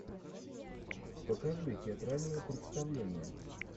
покажи театральное представление